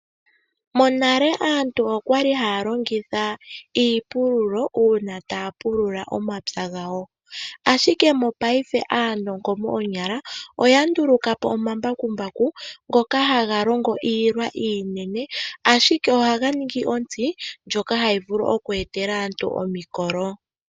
Monale aantu okwali haya longitha iipululo uuna taya pulula omapya gawo. Ashike mopaife aanongo moonyala oya nduluka po omambakumbaku ngoka haga longo iilwa iinene. Ashike ohaga ningi ontsi ndjoka hayi vulu oku etela aantu omikolo.